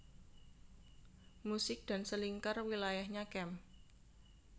Musik dan Selingkar wilayahnya Kem